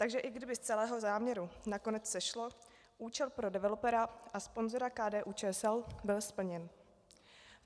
Takže i kdyby z celého záměru nakonec sešlo, účel pro developera a sponzora KDU-ČSL byl splněn.